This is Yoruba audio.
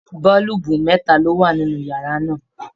Boolubu mẹta lo wà nínú yàrá náà.